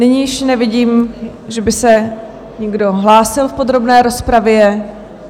Nyní již nevidím, že by se někdo hlásil v podrobné rozpravě.